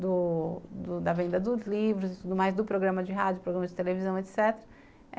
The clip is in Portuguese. do do da venda dos livros e tudo mais, do programa de rádio, do programa de televisão, etc.